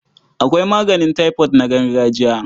Akwai maganin taifot na gargajiya.